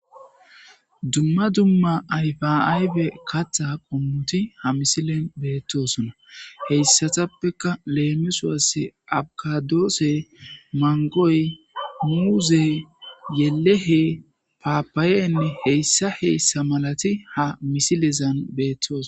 dumma dumma ayfaayfe katta qommuti ha misilen beettosona heyssatappeka leemisuase abkadoosse mangoy muuze yelehe paapaayenne heyssa heyssa malati ha misilezan beettoos